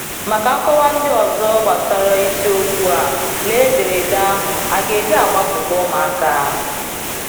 Maka nkọwa ndị ọzọ gbasara isiokwu a, lee ederede ahụ “a ga-eji gbapụta ụmụaka?”